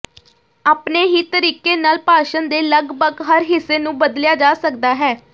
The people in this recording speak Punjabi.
ਆਪਣੇ ਹੀ ਤਰੀਕੇ ਨਾਲ ਭਾਸ਼ਣ ਦੇ ਲਗਭਗ ਹਰ ਹਿੱਸੇ ਨੂੰ ਬਦਲਿਆ ਜਾ ਸਕਦਾ ਹੈ